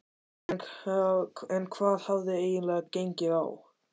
En hvað hafði eiginlega gengið á?